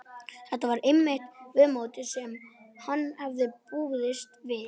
Þetta var einmitt viðmótið sem hann hafði búist við.